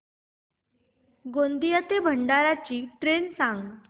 गोंदिया ते भंडारा ची ट्रेन सांग